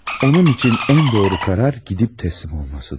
Onun üçün ən doğru qərar gedib təslim olmasıdır.